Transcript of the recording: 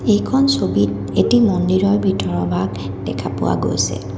এইখন ছবিত এটি মন্দিৰৰ ভিতৰৰ ভাগ দেখা পোৱা গৈছে।